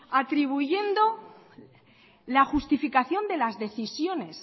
atribuyendo la justificación de las decisiones